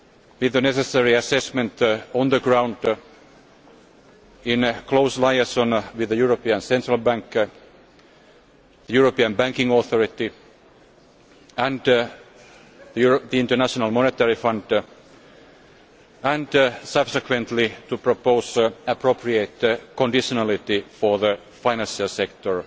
with the necessary assessment on the ground, in close alliance with the European Central Bank, the European Banking Authority and the International Monetary Fund, and subsequently to propose appropriate conditionality for the financial sector